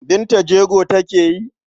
Binta jego take yi?